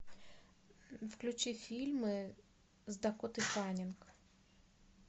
включи фильмы с дакотой фаннинг